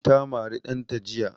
Ta mari ɗanta jiya